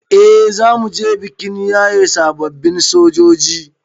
Eh zamuje bikin yaye sababbin sojoji